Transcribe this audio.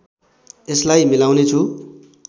यसलाई मिलाउनेछु